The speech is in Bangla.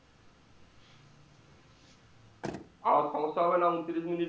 আবার সমস্যা হবেনা ঊনত্রিশ minitue